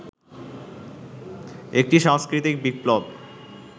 একটি সাংস্কৃতিক বিপ্লব